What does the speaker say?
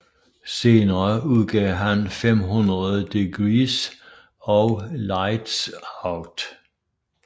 Senere udgav han 500 Degreez og Lightz Out